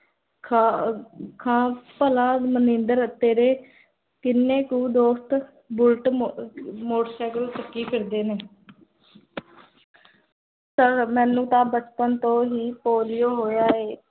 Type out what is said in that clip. ਖਾ ਖਾ ਭੱਲਾ ਮਨਿੰਦਰ ਤੇਰੇ ਕਿੰਨੇ ਕੁ ਦੋਸਤ ਬੁੱਲਟ, ਮੋਟਰ ਸੈਕਲ ਚੱਕੀ ਫਿਰਦੇ ਨੇ ਪਰ ਮੇਨੂ ਤਾਂ ਬਚਪਨ ਤੋਂ ਹੀ ਪੋਲਿਓ ਹੋਇਆ ਏ